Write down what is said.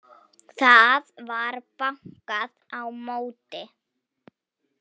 Það var bankað á móti.